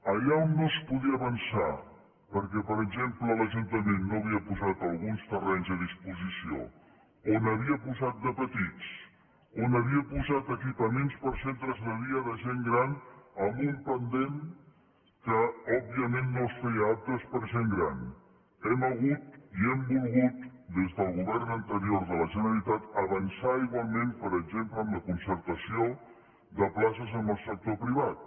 allà on no es podia avançar perquè per exemple l’ajuntament no havia posat alguns terrenys a disposició o n’havia posat de petits o havia posat equipaments per a centres de dia de gent gran amb un pendent que òbviament no els feia aptes per a gent gran hem hagut i hem volgut des del govern anterior de la generalitat avançar igualment per exemple en la concertació de places amb el sector privat